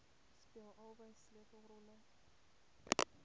speel albei sleutelrolle